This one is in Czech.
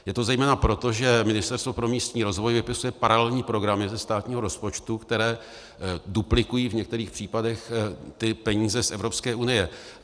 Je to zejména proto, že Ministerstvo pro místní rozvoj vypisuje paralelní programy ze státního rozpočtu, které duplikují v některých případech ty peníze z Evropské unie.